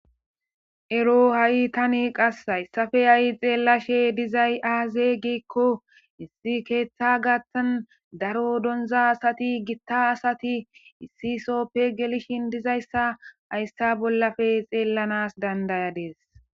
ero ha7i tani qass hayssafe ha7i xeellashe dizay aaze gikko issi keeththa gathtan daro donza asati gitta asati issi soppe gelishin dizayssa hayssa bollafe xeellanas dandayadees